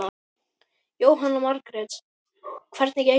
Jóhanna Margrét: Hvernig gengur?